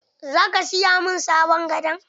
Zaka siya min sabon gado?